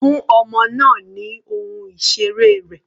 Fún ọmọ náà ni ohun ìseré rẹ̀.